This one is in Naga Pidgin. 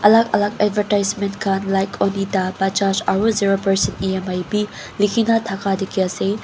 alak alak advertisement kan like onida bajaj aro zero percent emi be likina taka teki ase.